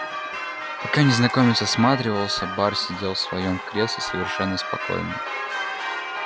пока незнакомец осматривался бар сидел в своём кресле совершенно спокойно